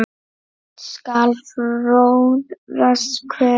skal fróðra hver